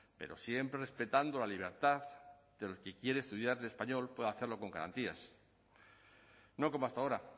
pero siempre respetando la libertad del que quiere estudiar en español pueda hacerlo con garantías no como hasta ahora